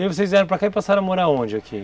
E aí vocês vieram para cá e passaram a morar onde aqui?